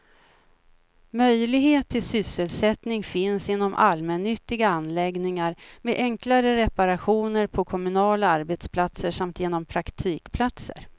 Möjlighet till sysselsättning finns inom allmännyttiga anläggningar, med enklare reparationer på kommunala arbetsplatser samt genom praktikplatser.